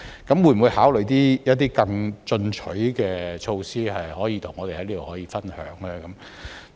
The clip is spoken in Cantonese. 局長會否考慮一些更進取的措施，可以跟我們在這裏分享呢？